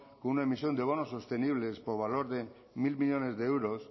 con una emisión de bonos sostenibles por valor de mil millónes de euros